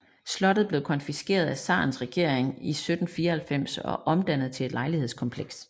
Slottet blev konfiskeret af zarens regering i 1794 og omdannet til et lejlighedskompleks